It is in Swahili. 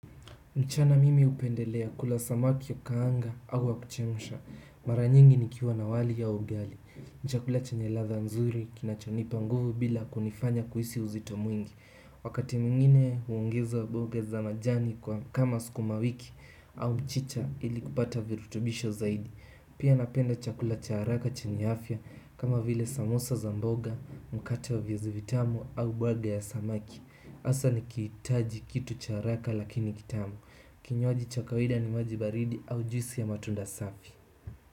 Mchana mimi hupendelea kula samaki wa kukaanga au wa kuchemsha. Mara nyingi nikiwa na wali au ugali. Ni chakula chenye ladha nzuri kinachonipa nguvu bila kunifanya kuhisi uzito mwingi. Wakati mwingine huongeza mboga za majani kama sukuma wiki au mchicha ili kupata virutubisho zaidi pia napenda chakula cha haraka chenye afya kama vile samosa za mboga, mkate wa viazi vitamu au baga ya samaki. Hasa nikihitaji kitu cha haraka lakini kitamu. Kinywaji cha kawaida ni maji baridi au juisi ya matunda safi.